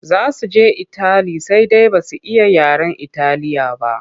Za su je itali sai dai ba su iya yaren Italiya ba.